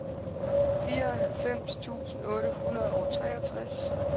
fireoghalvfems tusind otte hundrede og treogtres